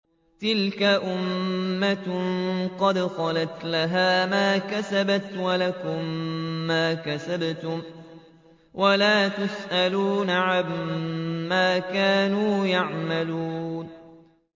تِلْكَ أُمَّةٌ قَدْ خَلَتْ ۖ لَهَا مَا كَسَبَتْ وَلَكُم مَّا كَسَبْتُمْ ۖ وَلَا تُسْأَلُونَ عَمَّا كَانُوا يَعْمَلُونَ